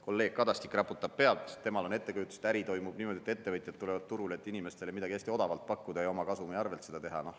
Kolleeg Kadastik raputab pead, temal on ettekujutus, et äri toimub niimoodi, et ettevõtjad tulevad turule, et inimestele midagi hästi odavalt pakkuda ja oma kasumi arvelt seda teha.